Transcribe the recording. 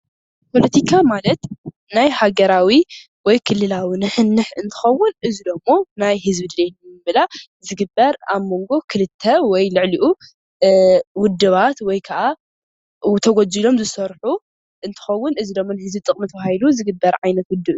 ፖለቲካ ማለት ናይ ሃገራዊ ወይ ክልላዊ ንሕንሕ እንትከዉን እዚ ድማ ናይህዝቢ ድሌት ንምምላእ ዝግበር ኣብ መንጎ ክልተ ወይ ልዕሊኡ ዉድባት ወይ ከዓ ተጎጂሎም ዝሰርሑ እንትከዉን እዚ ድማ ንህዝቢ ጥቅሚ ተባ ሂሉ ዝግበር ዓይነት ዉድብ እዩ።